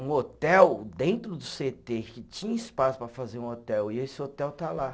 Um hotel dentro do cê tê, que tinha espaço para fazer um hotel, e esse hotel está lá.